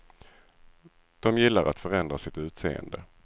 De gillar att förändra sitt utseende.